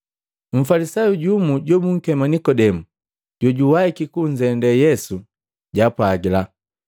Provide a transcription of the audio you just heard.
Mfalisayu jumu jobunkema Nikodemu jojawahiki kunzende Yesu jaapwagila,